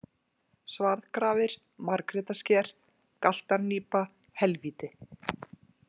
Svarðgrafir, Margrétarsker, Galtarnípa, Helvíti